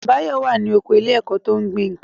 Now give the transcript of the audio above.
Báyọ̀ wà ní oko ilé ẹ̀kọ́ tó ń gbin nǹkan